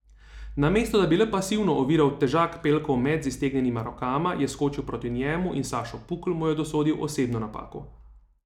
Namesto da bi le pasivno oviral težak Pelkov met z iztegnjenima rokama, je skočil proti njemu in Sašo Pukl mu je dosodil osebno napako.